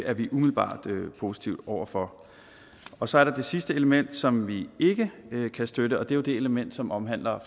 er vi umiddelbart positive over for og så er der det sidste element som vi ikke kan støtte og det er jo det element som omhandler